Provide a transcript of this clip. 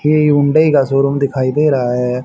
ये हुंडई का शोरुम दिखाई दे रहा है।